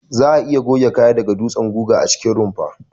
Za'a iya goge kaya da dutsen guga a cikin rumfa.